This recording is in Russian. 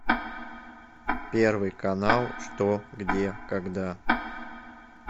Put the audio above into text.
первый канал что где когда